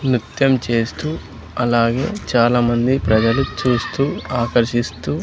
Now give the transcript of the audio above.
నిత్యం చేస్తూ అలాగే చాలామంది ప్రజలు చూస్తూ ఆకర్షిస్తూ--